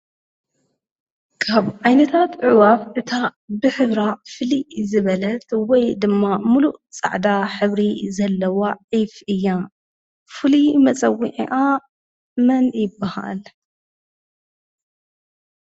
ካብ ዓይነታት ዕዕዋፍ እታ ብሕብራ ፍልይ ዝበለት ወይ ድማ ሙሉእ ፃዕዳ ሕብሪ ዘለዋ ዒፍ እያ፡፡ ፍሉይ መፀውዒዓ መን ይበሃል?